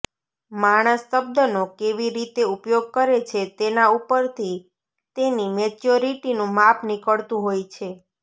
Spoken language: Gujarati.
માણસ શબ્દનો કેવી રીતે ઉપયોગ કરે છે તેના ઉપરથી તેની મેચ્યોરિટીનું માપ નીકળતું હોય છે